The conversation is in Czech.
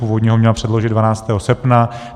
Původně ho měla předložit 12. srpna.